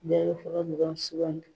Bɛɛ be fɔlɔ dɔrɔn sugandi